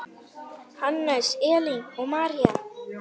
Hannes, Elín og María.